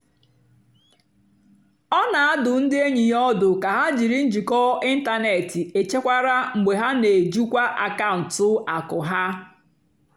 ọ́ nà-àdụ́ ndí ényì yá ọ́dụ́ kà hà jìrí njìkọ́ ị́ntánètị́ échékwárá mgbe hà nà-èjìkwá àkàụ́ntụ́ àkụ́ há.